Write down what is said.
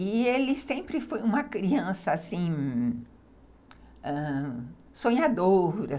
E ele sempre foi uma criança, assim, ãh, sonhadora.